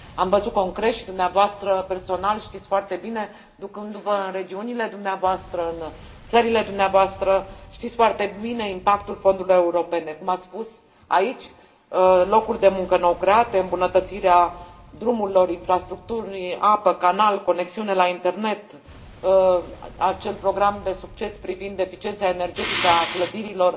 Am văzut concret și, dumneavoastră știți foarte bine, ducându vă în regiunile dumneavoastră, în țările dumneavoastră, știți foarte bine care este impactul fondurilor europene, cum ați spus aici locuri de muncă nou create, îmbunătățirea drumurilor, infrastructurii, apei, canalelor, conexiuni la Internet, acel program de succes privind eficiența energetică a clădirilor